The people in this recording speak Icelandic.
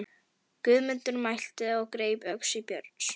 Guðmundur mælti og greip öxi Björns.